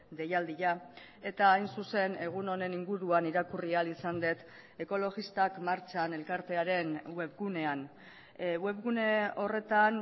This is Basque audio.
deialdia eta hain zuzen egun honen inguruan irakurri ahal izan dut ekologistak martxan elkartearen webgunean webgune horretan